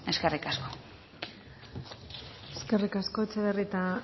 eskerrik asko eskerrik asko etxebarrieta